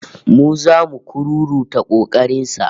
Mu zamu kururuta kokarin sa